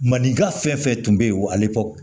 Maninka fɛn fɛn tun bɛ yen wa ali ko